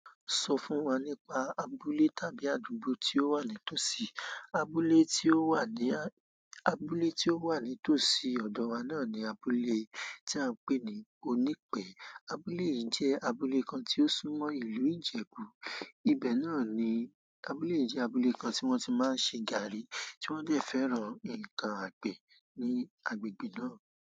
Sọ fún wa nípa abúlé tàbí àdúgbò tí ó wà ní tòsí. Abúlé tí ó wà ní, abúlé tí ó wà ní tòsí ọ̀dọ̀ wa náà ni abúlé tí à ń pè ní Onipe. Abúlé yìí jẹ́ abúlé kan tí ó súnmọ́ ìlú Ìjẹ̀bú. Ibẹ̀ náà ni abúlé yìí jẹ́ abúlé kan tí wọ́n ti máa ń ṣe gààrí, tí wọ́n dẹ̀ fẹ́ràn ǹkan àgbẹ̀ ní agbègbè náà.